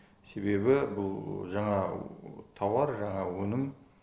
себебі бұл жаңа тауар жаңа өнім